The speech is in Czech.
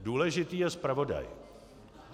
Důležitý je zpravodaj.